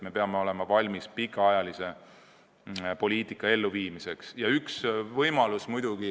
Me peame valmis olema pikaajalise poliitika elluviimiseks.